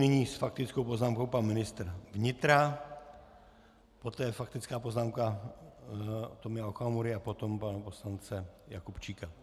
Nyní s faktickou poznámkou pan ministr vnitra, poté faktická poznámka Tomia Okamury a potom pana poslance Jakubčíka.